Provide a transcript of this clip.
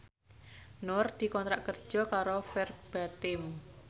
Nur dikontrak kerja karo Verbatim